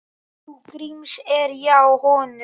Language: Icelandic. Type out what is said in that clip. Trú Gríms er hjá honum.